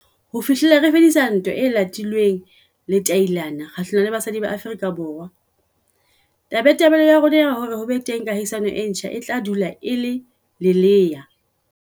Ho fihlela re fedisa ntwa e latilweng letailana kgahlanong le basadi ba Afrika Borwa, tabatabelo ya rona ya hore ho be teng kahisano e ntjha e tla dula e le lelea.